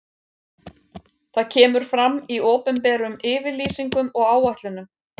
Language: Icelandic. Það kemur fram í opinberum yfirlýsingum og áætlunum.